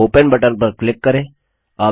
अब open button पर click करें